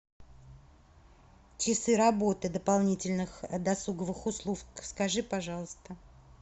часы работы дополнительных досуговых услуг скажи пожалуйста